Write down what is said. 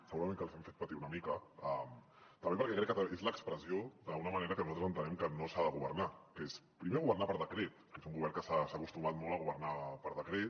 segurament que els hem fet patir una mica també perquè crec que és l’expressió d’una manera que nosaltres entenem que no s’ha de governar que és primer governar per decret que és un govern que s’ha acostumat molt a governar per decret